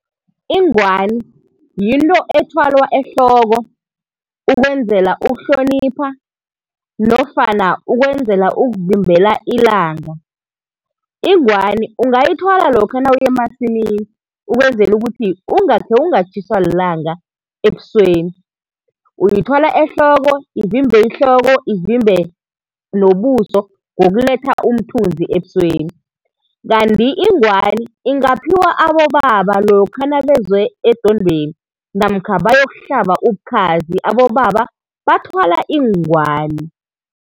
Ingwani yinto ethwalwa ehloko ukwenzela ukuhlonipha nofana ukwenzela ukuvimbela ilanga. Ingwani ungayithwala lokha nawuya emasimini ukwenzela ukuthi ungakhe ungatjhiswa lilanga ebusweni. Uyithwala ehloko, ivimbe ihloko ivimbe nobuso ngokuletha umthunzi ebusweni. Kanti ingwani ingaphiwa abobaba lokha nabeze edwendweni namkha bayokuhlaba ubukhazi, abobaba bathwala iingwani.